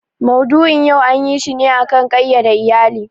Maudu'in yau anyi shi ne a kan ƙayyade iyali.